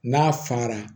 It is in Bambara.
N'a fara